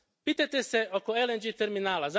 Pitajte se oko LNG terminala.